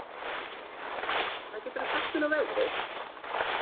Bergrún, hvað geturðu sagt mér um veðrið?